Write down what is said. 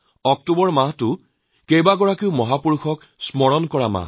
অক্টোবৰ মাহত আমাৰ কেইবাগৰাকী মহাপুৰুষৰ স্মৰণ কৰাৰ মাহ